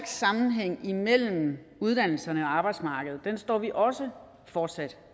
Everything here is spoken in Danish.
sammenhæng imellem uddannelserne og arbejdsmarkedet står vi også fortsat